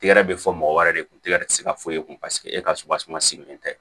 Tɛgɛrɛ bɛ fɔ mɔgɔ wɛrɛ de kun tɛgɛ tɛ se ka foyi e kun paseke e ka sopaseman sigilen tɛ